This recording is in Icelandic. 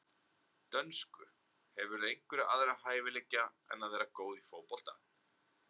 Dönsku Hefurðu einhverja aðra hæfileika en að vera góð í fótbolta?